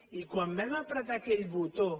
i quan vam apretar aquell botó